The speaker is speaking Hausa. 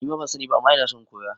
Nima ban sani ba ama ina son in koya